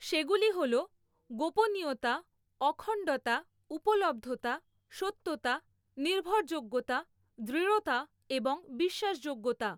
সেগুলি হল গোপনীয়তা ,অখণ্ডতা ,উপলব্ধতা, সত্যতা ,নির্ভরযোগ্যতা, দৃঢ়তা এবং বিশ্বাসযোগ্যতা।